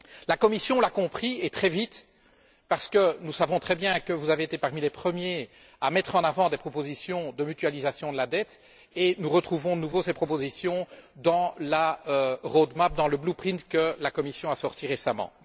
La Commission l'a compris, et très vite, parce que nous savons très bien que vous avez été parmi les premiers à mettre en avant des propositions de mutualisation de la dette et nous retrouvons de nouveau ces propositions dans la roadmap dans le blue print que la Commission a sortis récemment.